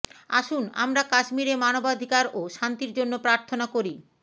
আসুন আমরা কাশ্মীরে মানবাধিকার ও শান্তির জন্য প্রার্থনা করি